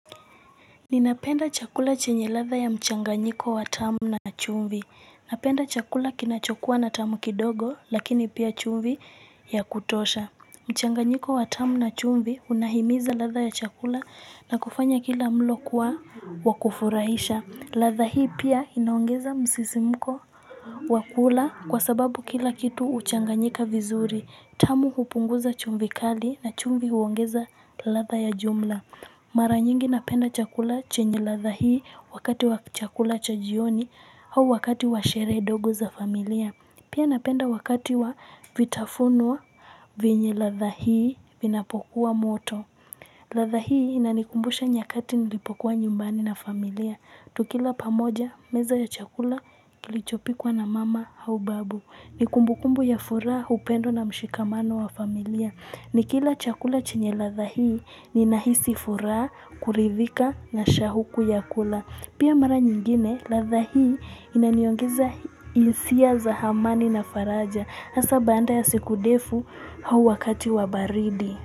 Ninapenda chakula chenye ladha ya mchanganyiko wa tamu na chumbi Napenda chakula kinachokuwa na tamu kidogo lakini pia chumvi ya kutosha mchanganyiko wa tamu na chumvi unahimiza ladha ya chakula na kufanya kila mlo kuwa wa kufurahisha, ladha hii pia inaongeza msisimko wa kula kwa sababu kila kitu huchanganyika vizuri. Tamu hupunguza chumvi kali na chumvi huongeza ladha ya jumla Mara nyingi napenda chakula chenye ladha hii wakati wa chakula cha jioni au wakati wa sherehe ndogo za familia. Pia napenda wakati wa vitafunuwa venye la dha hii vinapokuwa moto. Ladha hii inanikumbusha nyakati nilipokuwa nyumbani na familia. Tukila pamoja meza ya chakula kilichopikwa na mama au babu. Ni kumbukumbu ya furaha, upendo na mshikamano wa familia. Nikila chakula chenye ladha hii ninahisi furaha, kuridhika na shahuku ya kula. Pia mara nyingine ladha hii inaniongeza hisia za amani na faraja. Hasaa baada ya siku ndefu ua wakati wa baridi.